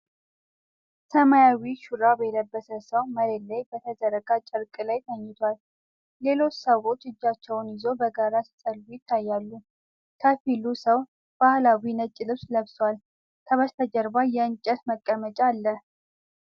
ሰማያዊ ሹራብ የለበሰ ሰው መሬት ላይ በተዘረጋ ጨርቅ ላይ ተኝቷል። ሌሎች ሰዎች እጃቸውን ይዘው በጋራ ሲጸልዩ ይታያሉ። ከፊሉ ሰው ባህላዊ ነጭ ልብስ ለብሷል፤ ከበስተጀርባ የእንጨት መቀመጫ አለ።